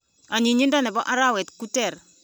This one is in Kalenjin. Onyinyinto nipo arawe ku ter.